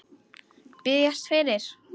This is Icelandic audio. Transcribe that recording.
Biðjast fyrir?